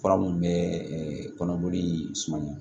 Fura minnu bɛ kɔnɔboli sumaya